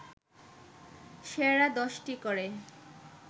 সেরা ১০টি করে